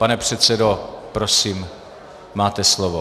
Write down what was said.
Pane předsedo, prosím, máte slovo.